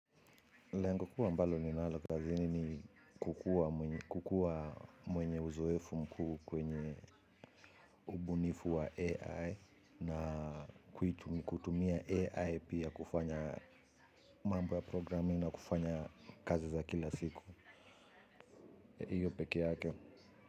Lengo kuu ambalo ninalo kazi ni kukua kukuwa mwenye uzoefu mkuu kwenye ubunifu wa AI na kutumia AI pia kufanya mambo ya programming na kufanya kazi za kila siku. Hio peke yake.